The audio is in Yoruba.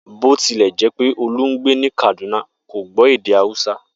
Bó ti lè̩ jé̩ pé Olú ń gbé ní Kàdúná, kò gbó̩ èdè Hausa